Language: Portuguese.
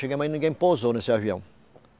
Chegamos aí, ninguém pousou nesse avião.